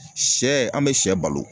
Sɛ an bɛ sɛ balo